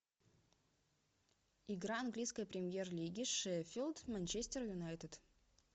игра английской премьер лиги шеффилд манчестер юнайтед